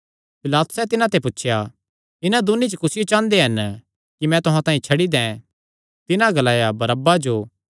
पिलातुसैं तिन्हां ते पुछया इन्हां दून्नी च कुसियो चांह़दे हन कि मैं तुहां तांई छड्डी दैं तिन्हां ग्लाया बरअब्बा जो